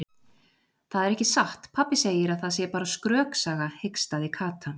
Það er ekki satt, pabbi segir að það sé bara skröksaga hikstaði Kata.